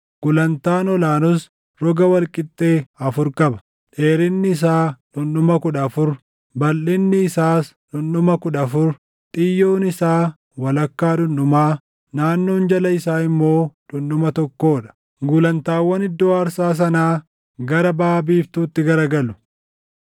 Gulantaan ol aanus roga wal qixxee afur qaba; dheerinni isaa dhundhuma kudha afur, balʼinni isaas dhundhuma kudha afur; xiyyoon isaa walakkaa dhundhumaa, naannoon jala isaa immoo dhundhuma tokkoo dha. Gulantaawwan iddoo aarsaa sanaa gara baʼa biiftuutti garagalu.”